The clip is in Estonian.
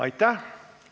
Aitäh!